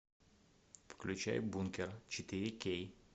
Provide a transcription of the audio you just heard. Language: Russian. включай бункер четыре кей